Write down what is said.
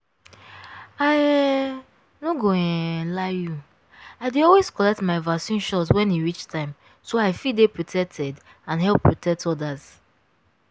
i um no go um lie you i dey always collect my vaccine shot when e reach time so i fit dey protected and help protect others.